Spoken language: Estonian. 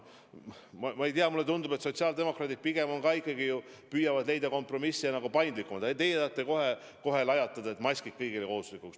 Ma ei tea, mulle tundub, et sotsiaaldemokraadid pigem ikkagi püüavad leida kompromisse ja on paindlikumad, aga teie tahate kohe lajatada, et maskid kõigile kohustuslikuks.